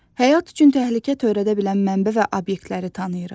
Həyat üçün təhlükə törədə bilən mənbə və obyektləri tanıyırıq.